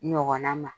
Ɲɔgɔnna ma